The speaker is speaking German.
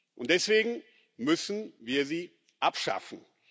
Und deswegen müssen wir sie abschaffen.